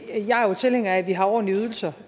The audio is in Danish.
jeg jo er tilhænger af at vi har ordentlige ydelser